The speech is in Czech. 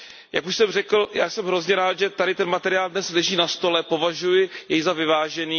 Jak už jsem řekl, jsem hrozně rád, že tady ten materiál dnes leží na stole, považuji jej za vyvážený.